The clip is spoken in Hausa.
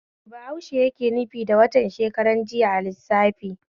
Me bahaushe yake nufi da watan shekaran jiya a lissafi?